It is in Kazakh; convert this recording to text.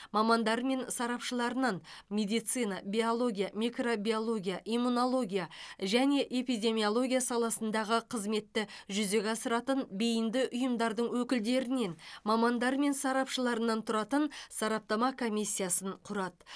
мамандары мен сарапшыларынан медицина биология микробиология иммунология және эпидемиология саласындағы қызметті жүзеге асыратын бейінді ұйымдардың өкілдерінен мамандары мен сарапшыларынан тұратын сараптама комиссиясын құрады